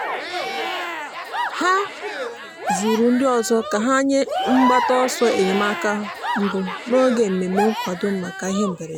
ha zụrụ ndị ọzọ ka ha nye mgbata ọsọ enyemaka mbụ n'oge mmemme nkwado maka ihe mberede.